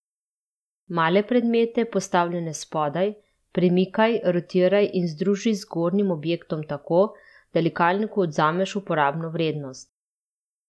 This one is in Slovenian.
Male predmete, postavljene spodaj, premikaj, rotiraj in združi z zgornjim objektom tako, da likalniku odvzameš uporabno vrednost.